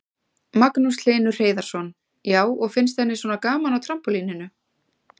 Magnús Hlynur Hreiðarsson: Já, og finnst henni svona gaman á trampólíninu?